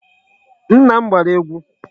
Nna m gbara egwu.